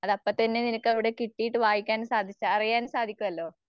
അതപ്പത്തന്നെ നിനക്ക് അവിടെകിട്ടിയിട്ട് വായിക്കാനും സാധിച് അറിയാനും സാധിക്കുവല്ലോ.